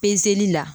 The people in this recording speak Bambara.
Pezeli la